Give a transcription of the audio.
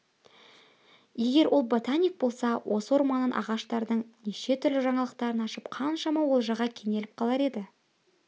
егер ол ботаник болса осы орманнан ағаштардың неше түрлі жаңалықтарын ашып қаншама олжаға кенеліп қалар еді